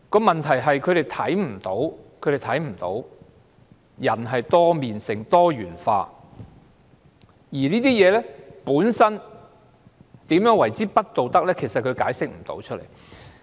問題是，他們看不到人有多面性、是多元化的，而同性婚姻如何不道德，他們解釋不了。